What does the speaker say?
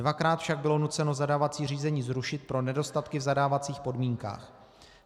Dvakrát však bylo nuceno zadávací řízení zrušit pro nedostatky v zadávacích podmínkách.